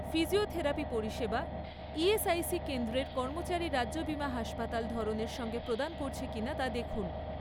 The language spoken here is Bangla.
ফিজিওথেরাপি পরিষেবা ইএসআইসি কেন্দ্রের কর্মচারী রাজ্য বিমা হাসপাতাল ধরনের সঙ্গে প্রদান করছে কিনা তা দেখুন।